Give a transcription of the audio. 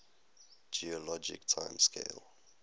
geologic time scale